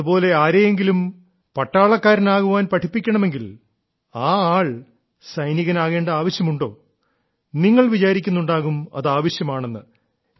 അതുപോലെ ആരെയെങ്കിലും പട്ടാളക്കാരനാകാൻ പഠിപ്പിക്കണമെങ്കിൽ ആ ആൾ സൈനികനാകേണ്ട ആവശ്യമുണ്ടോ നിങ്ങൾ വിചാരിക്കുന്നുണ്ടാകും അത് ആവശ്യമാണെന്ന്